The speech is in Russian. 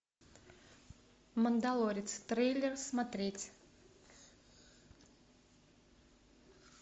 мандалорец трейлер смотреть